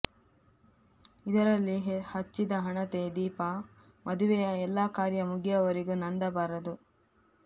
ಇದರಲ್ಲಿ ಹಚ್ಚಿದ ಹಣತೆ ದೀಪ ಮದುವೆಯ ಎಲ್ಲ ಕಾರ್ಯ ಮುಗಿಯುವವರೆಗೂ ನಂದಬಾರದು